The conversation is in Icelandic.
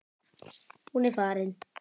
Hún er farin.